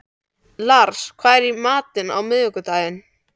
Lars, hvað er í matinn á miðvikudaginn?